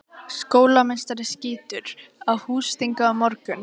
Skólameistari skýtur. á húsþingi á morgun.